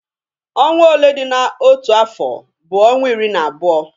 Ọnwa ole dị n'otu afọ bụ ọnwa iri na abụọ.